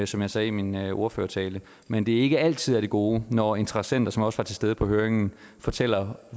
som jeg sagde i min ordførertale men det er ikke altid af det gode når interessenter som også var til stede på høringen fortæller